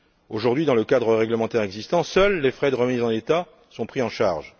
Aujourd'hui, dans le cadre réglementaire existant, seuls les frais de remise en état sont pris en charge.